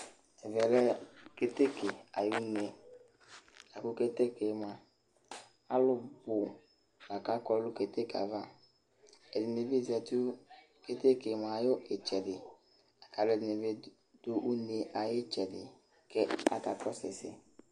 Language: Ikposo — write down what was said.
Ɛmɛ lɛ keteke aƴʋ uneAmʋ keteke mʋa, alʋ bʋ la kakɔ nʋ keteke ava, ɛdɩnɩ bɩ zati nʋ keteke ayɩtsɛdɩ, kʋ alʋ ɛdɩnɩ bɩ dʋ une ayʋ ɩtsɛdɩ kʋ akakɔsʋ ɛsɛ